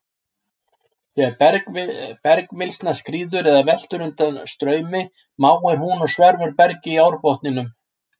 Þegar bergmylsna skríður eða veltur undan straumi máir hún og sverfur berg í árbotninum.